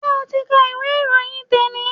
Ṣé ti o ka ìwé ìròyìn te ni?